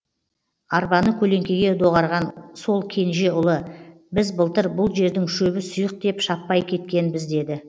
арбаны көлеңкеге доғарған сол кенже ұлы біз былтыр бұл жердің шөбі сұйық деп шаппай кеткенбіз деді